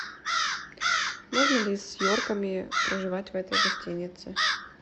можно ли с йорками проживать в этой гостинице